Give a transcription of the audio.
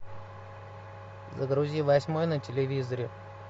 загрузи восьмой на телевизоре